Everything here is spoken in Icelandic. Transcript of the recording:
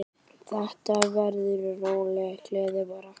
Þetta verður róleg gleði bara.